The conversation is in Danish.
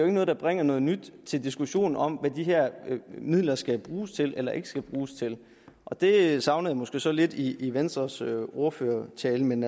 noget der bringer noget nyt til diskussionen om hvad de her midler skal bruges til eller ikke skal bruges til og det savnede jeg måske så lidt i i venstres ordførertale men